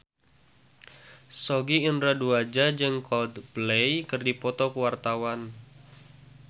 Sogi Indra Duaja jeung Coldplay keur dipoto ku wartawan